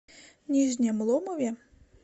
нижнем ломове